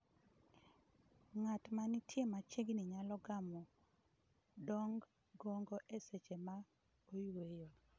Ng'at ma nitie machiegni nyalo gamo ndong' gogo e seche ma oyueyo.